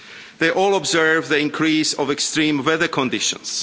They all observe the increase in extreme weather conditions.